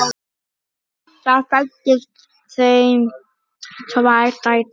Þar fæddust þeim tvær dætur.